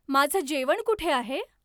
माझं जेवण कुठे आहे?